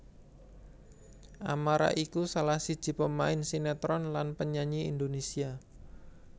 Amara iku salah siji pemain sinétron lan penyanyi Indonésia